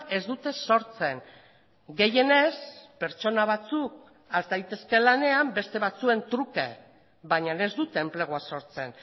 ez dute sortzen gehienez pertsona batzuk has daitezke lanean beste batzuen truke baina ez dute enplegua sortzen